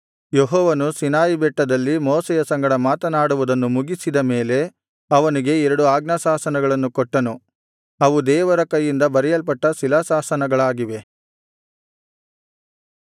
ಯೆಹೋವನು ಸೀನಾಯಿ ಬೆಟ್ಟದಲ್ಲಿ ಮೋಶೆಯ ಸಂಗಡ ಮಾತನಾಡುವುದನ್ನು ಮುಗಿಸಿದ ಮೇಲೆ ಅವನಿಗೆ ಆ ಎರಡು ಆಜ್ಞಾಶಾಸನಗಳನ್ನು ಕೊಟ್ಟನು ಅವು ದೇವರ ಕೈಯಿಂದ ಬರೆಯಲ್ಪಟ್ಟ ಶಿಲಾಶಾಸನಗಳಾಗಿವೆ